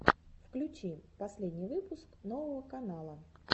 включи последний выпуск нового канала